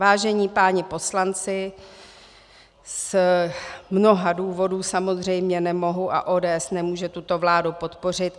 Vážení páni poslanci, z mnoha důvodů samozřejmě nemohu a ODS nemůže tuto vládu podpořit.